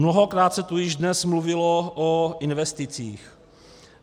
Mnohokrát se tu již dnes mluvilo o investicích.